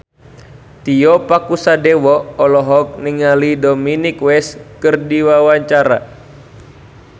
Tio Pakusadewo olohok ningali Dominic West keur diwawancara